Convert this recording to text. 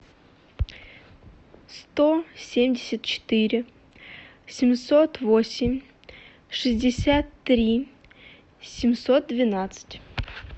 сто семьдесят четыре семьсот восемь шестьдесят три семьсот двенадцать